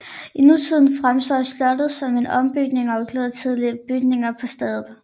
I nutiden fremstår slottet som en ombygning og inkludering af tidligere bygninger på stedet